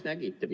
No läks!